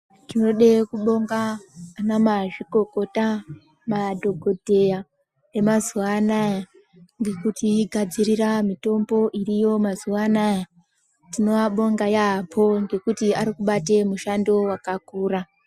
Tinoda kubonga vana mazvikokota madhokodheya emazuva anawa nekuti gadzirira mitombo iriyo mazuva anawa tinovabonga yambo nekuti arikubate mishando yakakura.